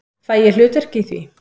Fæ ég hlutverk í því?